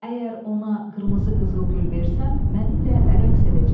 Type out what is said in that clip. Əgər ona qırmızı qızılgül versəm, mənimlə rəqs edəcək.